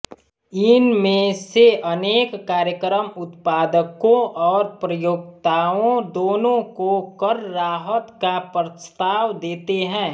इन में से अनेक कार्यक्रम उत्पादकों और प्रयोक्ताओं दोनों को करराहत का प्रस्ताव देते हैं